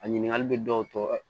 A ɲininkali bɛ dɔw tɔ